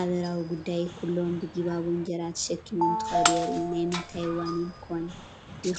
ኣበራዊ ጉዳይ ኩሎም ብጊባቦ እንጀራ ተሸኪሞም እንትኸዱ የርኢ፡፡ ናይ ምንታይ ዋኒን ኮን ይኸውን ትብሉ?